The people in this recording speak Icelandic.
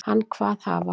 Hann kvað hafa